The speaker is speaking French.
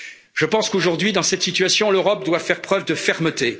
Je pense qu'aujourd'hui, dans cette situation, l'Europe doit faire preuve de fermeté.